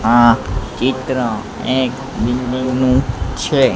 આ ચિત્ર એક બિલ્ડિંગ નુ છે.